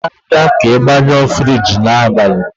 jide n'aka ka ị gbanyụọ Friji n'abalị!